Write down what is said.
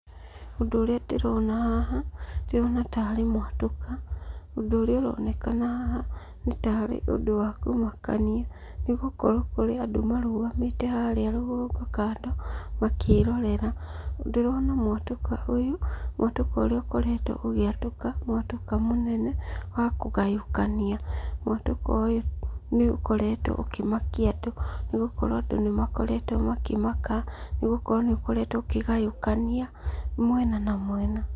Ũndũ ũrĩa ndĩrona haha, ndĩrona tarĩ mwatũka. Ũndũ ũrĩa ũronekana haha nĩ ta harĩ ũndũ wa kũmakania, nĩgũkorwo kũrĩ andũ marũgamĩte harĩa rũgongo kando, makĩĩrorera. Ndĩrona mwatũka ũyũ, mwatũka ũrĩa ũkoretwo ũgĩatũka, mwatũka mũnene wa kũgayũkania. Mwatũka ũyũ nĩ ũkoretwo ũkĩmakia andũ, nĩgũkorwo andũ nĩ makoretwo makĩmaka nĩgũkorwo nĩ ũkoretwo ũkĩgayũkania mwena na mwena.